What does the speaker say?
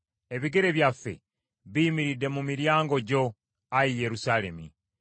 Ebigere byaffe biyimiridde mu miryango gyo, Ayi Yerusaalemi.